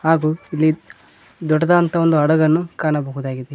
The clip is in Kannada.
ಹಾಗೂ ಇಲ್ಲಿ ದೊಡ್ಡದಾದಂತ ಒಂದು ಹಡಗನ್ನು ಕಾಣಬಹುದಾಗಿದೆ.